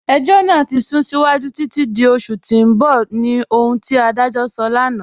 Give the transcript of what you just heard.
Ẹ̀jọ́ naa ti sún síwájú títi di oṣù tì n bọ̀ ni ohun ti adajọ́ sọ̀ lánà.